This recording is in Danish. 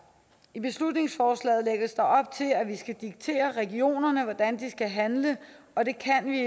i beslutningsforslaget lægges der op til at vi skal diktere regionerne hvordan de skal handle og det kan vi